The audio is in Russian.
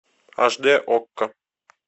аш д окко